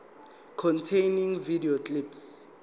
containing video clips